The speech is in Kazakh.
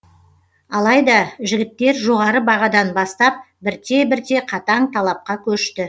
алайда жігіттер жоғары бағадан бастап бірте бірте қатаң талапқа көшті